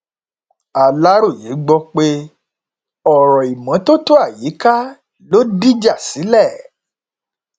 aláròye gbọpẹ ọrọ ìmọtótó àyíká ló dìjà sílẹ